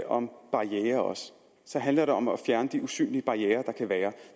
om barrierer så handler det om at fjerne de usynlige barrierer der kan være